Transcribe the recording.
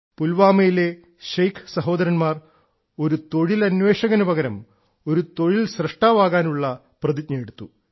പുൽവാമയിലെ ശൈഖ് സഹോദരന്മാർ ഒരു തൊഴിലന്വേഷകനു പകരം ഒരു സ്വയംതൊഴിൽ സൃഷ്ടാവ് ആകാനുള്ള പ്രതിജ്ഞയെടുത്തു